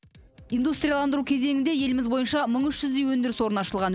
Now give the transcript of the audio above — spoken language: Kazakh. индустриаландыру кезеңінде еліміз бойынша мың үш жүздей өндіріс орны ашылған